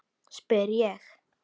spyr ég.